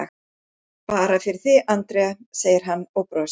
Bara fyrir þig, Andrea, segir hann og brosir.